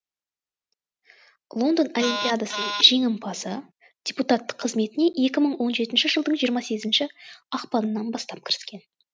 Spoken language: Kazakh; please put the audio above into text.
лондон олимпиадасының жеңімпазы депутаттық қызметіне екі мың он жетінші жылдың жиырма сегізінші ақпанынан бастап кіріскен